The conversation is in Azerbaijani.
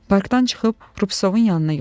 Parkdan çıxıb Rupsovun yanına yollandım.